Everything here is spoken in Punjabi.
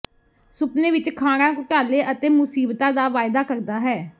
ਸੁਪਨੇ ਵਿੱਚ ਖਾਣਾ ਘੁਟਾਲੇ ਅਤੇ ਮੁਸੀਬਤਾ ਦਾ ਵਾਅਦਾ ਕਰਦਾ ਹੈ